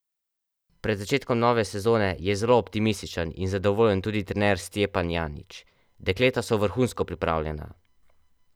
Pred začetkom nove sezone je zelo optimističen in zadovoljen tudi trener Stjepan Janić: "Dekleta so vrhunsko pripravljena.